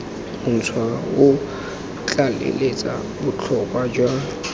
montšhwa o tlaleletsa botlhokwa jwa